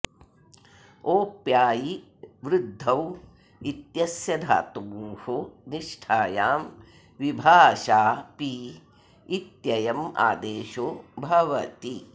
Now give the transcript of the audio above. ओप्यायी वृद्धौ इत्यस्य धातोः निष्ठायां विभाषा पी इत्ययम् आदेशो भवति